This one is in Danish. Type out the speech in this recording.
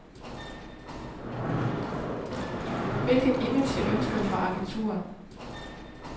Hvilket image jeg ønsker for agenturet?